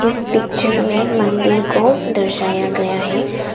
इस पिक्चर में मंदिर को दर्शाया गया है।